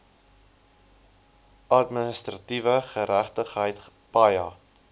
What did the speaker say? administratiewe geregtigheid paja